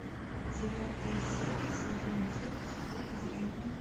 девятая серия сезон девять в поле зрения